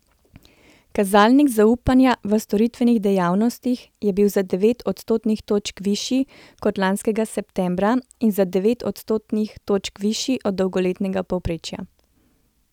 Kazalnik zaupanja v storitvenih dejavnostih je bil za devet odstotnih točk višji kot lanskega septembra in za devet odstotnih točk višji od dolgoletnega povprečja.